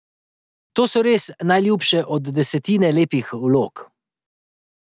To so res najljubše od desetine lepih vlog ...